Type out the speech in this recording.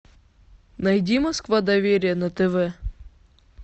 найди москва доверие на тв